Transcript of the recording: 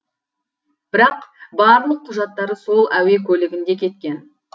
бірақ барлық құжаттары сол әуе көлігінде кеткен